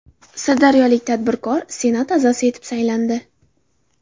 Sirdaryolik tadbirkor Senat a’zosi etib saylandi.